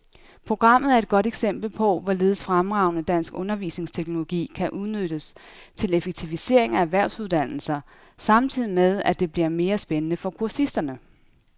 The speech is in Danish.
Programmet er et godt eksempel på, hvorledes fremragende dansk undervisningsteknologi kan udnyttes til effektivisering af erhvervsuddannelser samtidig med, at det bliver mere spændende for kursisterne.